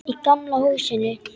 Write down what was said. Í gamla húsinu.